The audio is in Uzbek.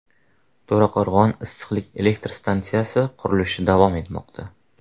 To‘raqo‘rg‘on issiqlik elektr stansiyasi qurilishi davom etmoqda.